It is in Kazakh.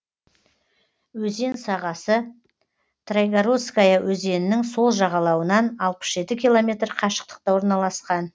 өзен сағасы трайгородская өзенінің сол жағалауынан алпыс жеті километр қашықтықта орналасқан